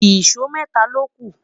ìsọ mẹta loku